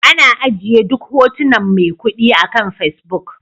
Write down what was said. Ana ajiye duk hotunan maikudi akan Facebook